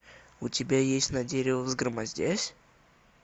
у тебя есть на древо взгромоздясь